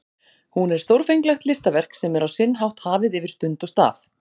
Hún er stórfenglegt listaverk sem er á sinn hátt hafið yfir stund og stað.